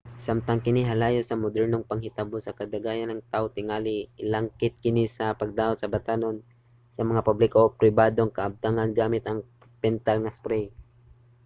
samtang kini halayo sa modernong panghitabo kadaghanan sa mga tawo tingali ilangkit kini sa pagdaot sa batan-on sa mga publiko o pribadong kabtangan gamit ang pintal nga spray